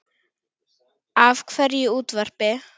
Af hverju útvarp?